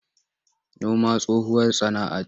Noma tsohuwar sana'ce.